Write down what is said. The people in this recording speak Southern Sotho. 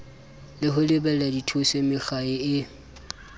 ho lebela dithuso mekga e